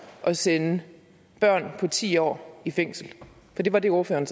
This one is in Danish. at sende børn på ti år i fængsel for det var det ordføreren